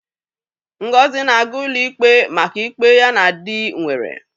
Ngozi na-aga ụlọ ikpe maka ịkpe ya na dị nwere.